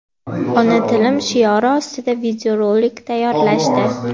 ona tilim shiori ostida video rolik tayyorlashdi.